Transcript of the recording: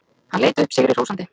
Hann leit upp sigri hrósandi.